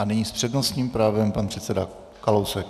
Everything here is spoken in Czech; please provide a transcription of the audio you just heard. A nyní s přednostním právem pan předseda Kalousek.